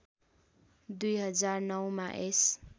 २००९ मा यस